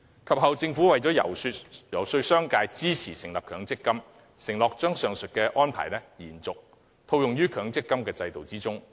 及後，政府遊說商界支持成立強積金時，承諾將上述安排沿用於強積金制度。